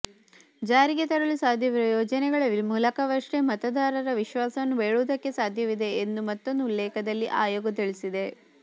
ಜಾರಿಗೆ ತರಲು ಸಾಧ್ಯವಿರುವ ಯೋಜನೆಗಳ ಮೂಲಕವಷ್ಟೇ ಮತದಾರರ ವಿಶ್ವಾಸವನ್ನು ಬೇಡುವುದಕ್ಕೆ ಸಾಧ್ಯವಿದೆ ಎಂದು ಮತ್ತೊಂದು ಉಲ್ಲೇಖದಲ್ಲಿ ಆಯೋಗ ತಿಳಿಸಿದೆ